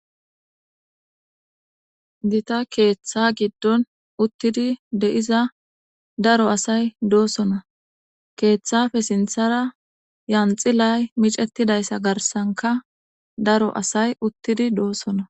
Dita keeththa giddon uttidi de'iza daro asay doosona keeththafe sinthara yanxilay micettidayssa garsanka daro asay uttidi doosona.